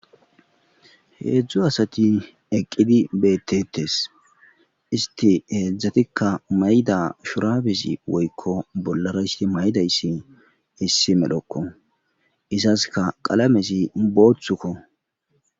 Heedzdzu asati eqqidi beettetes isti heedzdzatikka mayda shurabesi woykko bollara isti maydayssi hissi medhokko izaska qalamesi booththukko.